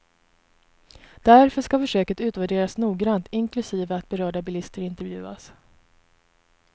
Därför ska försöket utvärderas noggrant, inklusive att berörda bilister intervjuas.